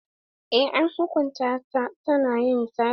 Eh an hukunta ta na yin sata.